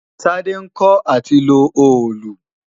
Tádé ń kọ́ à ti lo òòlù